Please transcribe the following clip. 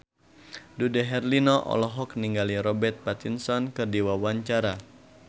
Dude Herlino olohok ningali Robert Pattinson keur diwawancara